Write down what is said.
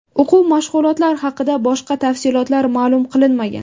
O‘quv mashg‘ulotlari haqida boshqa tafsilotlar ma’lum qilinmagan.